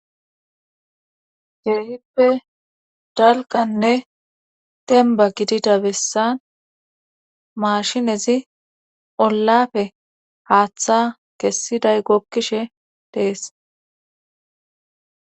heeyippe dalkanne demba gidida bessan mashinezi ollafe haaththa kessiday gokkishe dees